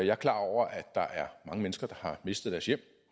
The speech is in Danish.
jeg er klar over at der er mange mennesker der har mistet deres hjem